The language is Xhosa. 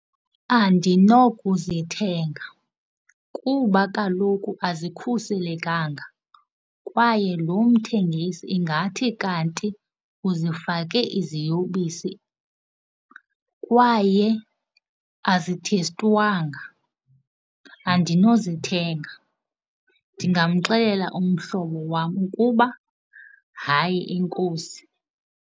Andinokuzithenga kuba kaloku azikhuselekanga kwaye lo mthengisi ingathi kanti uzifake iziyobisi kwaye azithestwanga. Andinozithenga, ndingamxelela umhlobo wam ukuba hayi, enkosi.